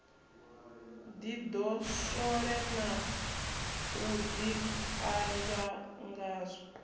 ḓidoswole na u ḓikanzwa ngazwo